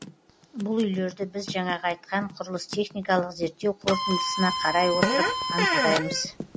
бұл үйлерді біз жаңағы айтқан құрылыс техникалық зерттеу қорытындысына қарай отырып анықтаймыз